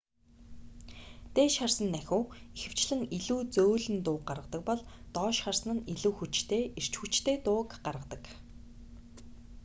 дээш харсан нахиу ихэвчлэн илүү зөөлөн дууг гаргадаг бол доош харсан нь илүү хүчтэй эрч хүчтэй дууг гаргадаг